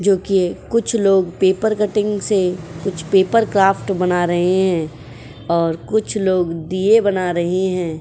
जो कि कुछ लोग पेपर कटिंग से कुछ पेपर क्राफ्ट बना रहे हैं और कुछ लोग दिये बना रहे हैं।